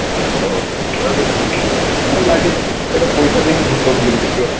ଡରଲାଗେ ଗୋଟେ ପଇସା ଦେଇକି ଭୁତ film ଦେଖିବ